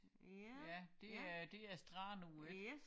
Ja det er det er strand og ikke